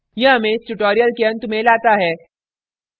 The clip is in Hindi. यह हमें इस tutorial के अंत में लाता है